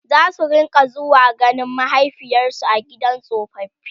zasu rinka zuwa ganin mahaifiyarsu a gidan tsofaffi